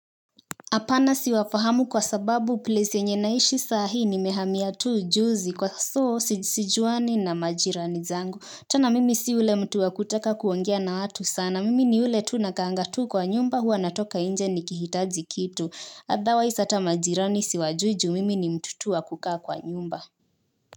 Hapana siwafahamu kwa sababu place yenye naishi saa hii nimehamia tu juzi kwa so sijuani na majirani zangu. Tana mimi si ule mtu wa kutaka kuongea na watu sana. Mimi ni ule tu nakaanga tu kwa nyumba huwa natoka nje nikihitaji kitu. Otherwise hata majirani siwajui ju mimi ni mtu tu wa kukaa kwa nyumba.